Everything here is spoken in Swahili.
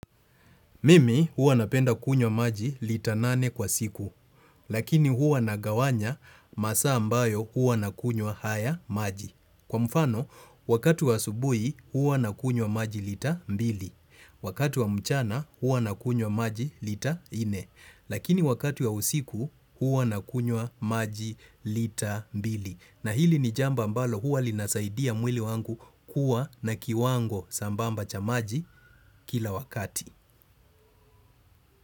Mimi huwa napenda kunywa maji lita nane kwa siku, lakini huwa nagawanya masaa ambayo huwa nakunywa haya maji. Kwa mfano, wakati wa asubuhi huwa nakunywa maji lita mbili, wakati wa mchana huwa nakunywa maji lita inne, lakini wakati wa usiku huwa nakunywa maji lita mbili. Na hili ni jambo ambalo huwa linasaidia mwili wangu kuwa na kiwango sambamba cha maji kila wakati.